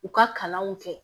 U ka kalanw kɛ